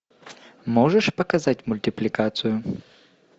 можешь показать мультипликацию